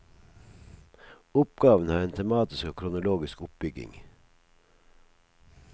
Oppgaven har en tematisk og kronologisk oppbygging.